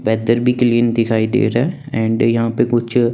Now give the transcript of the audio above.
weather भी clean दिखाई दे रहा है एंड यहां पे कुछ--